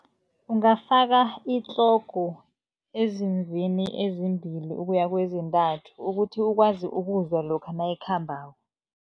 Ungafaka itlogo ezimvini ezimbili ukuya kezintathu, ukuthi ukwazi ukuzwa lokha nayikhambako.